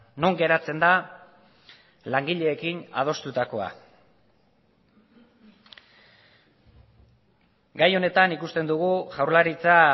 non geratzen da langileekin adostutakoa gai honetan ikusten dugu jaurlaritza